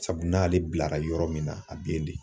Sabu n'ale bilara yɔrɔ min na a bɛ yen de.